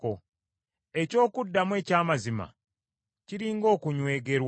Eky’okuddamu eky’amazima, kiri ng’okunywegerwa.